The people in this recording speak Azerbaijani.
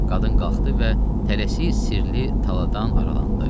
Qadın qalxdı və tələsi sirli taladan aralandı.